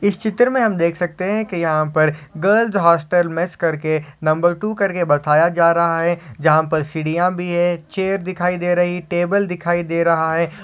इस चित्र में हम देख सकते हैं कि यहां पर गर्ल्स हॉस्टल मैस करके नंबर टु करके बैताया जा रहा है जहां पर सीढ़ियां भी है चेयर दिखाई दे रही टेबल दिखाई दे रहा है।